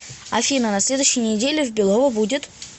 афина на следующей неделе в белово будет